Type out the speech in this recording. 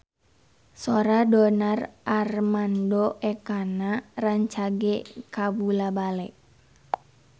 Sora Donar Armando Ekana rancage kabula-bale